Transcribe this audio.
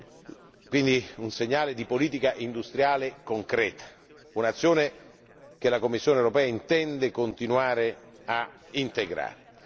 Si tratta quindi di un segnale di politica industriale concreto, un'azione che la Commissione europea intende continuare a integrare.